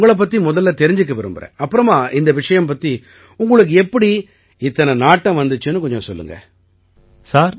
ஆகையால நான் உங்களைப் பத்தி முதல்ல தெரிஞ்சுக்க விரும்பறேன் அப்புறமா இந்த விஷயம் பத்தி உங்களுக்கு எப்படி இத்தனை நாட்டம் வந்திச்சுன்னு கொஞ்சம் சொல்லுங்க